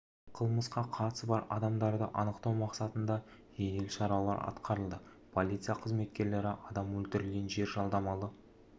қылмысқа қатысы бар адамдарды анықтау мақсатында жедел шаралар атқарылды полиция қызметкерлері адамды өлтірген жер жалдамалы